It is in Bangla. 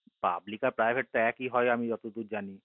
public আর private তো একই হয় আমি যত দূর জানি